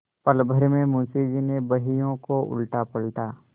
पलभर में मुंशी जी ने बहियों को उलटापलटा